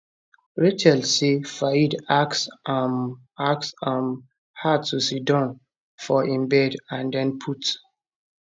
rachel say fayed ask um ask um her to sidon for im bed and den put